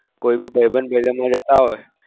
કોઈ भी ભાઈબંધ બે જતા હોય.